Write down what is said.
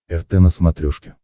рт на смотрешке